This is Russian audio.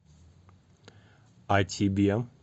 а тебе